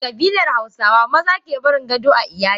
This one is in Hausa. A kabilar hausawa maza kebarin gado a iyali.